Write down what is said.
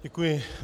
Děkuji.